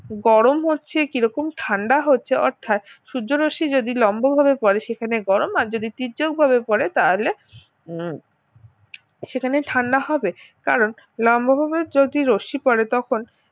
গরম হচ্ছে কি রকম ঠান্ডা হচ্ছে অর্থাৎ সূর্যরশ্মি যদি লম্বভাবে করে সেখানে গরম আর যদি তীর্যকভাবে পড়ে তাহলে সেখানে ঠান্ডা হবে কারণ লম্বভাবে যদি রশ্মি পড়ে তখন